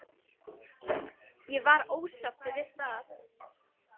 Ég var ósáttur við það.